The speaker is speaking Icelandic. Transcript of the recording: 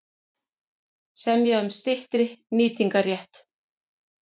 Semja um styttri nýtingarrétt